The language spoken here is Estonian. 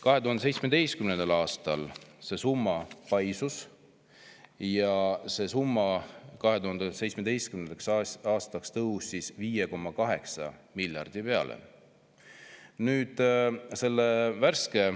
2017. aastaks see summa paisus ja tõusis 5,8 miljardi peale.